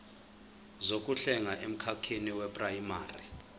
zokuhlenga emkhakheni weprayimari